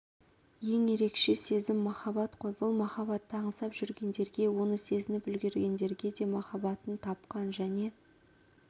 ең ерекше сезім махаббат қой бұл махаббатты аңсап жүргендерге оны сезініп үлгергендерге де махаббатын тапқан және